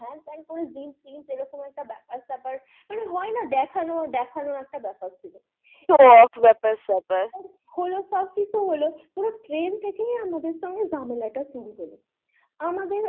এরকম একটা ব্যাপার সেপার মানে হয়না দেখানো, দেখানো একটা ব্যাপার ছিল show off ব্যাপার সেপার হলো সব কিছু হলো ওরা train থেকেই আমাদের সঙ্গে ঝামেলা তা শুরু হলো আমাদের